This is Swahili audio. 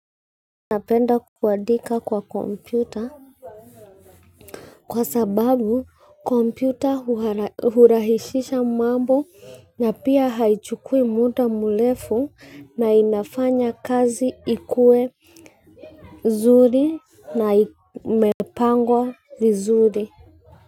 Napenda kuadika kwa kompyuta, kwa sababu kompyuta hurahisisha mambo na pia haichukui muda mrefu na inafanya kazi ikue nzuri na imepangwa vizuri.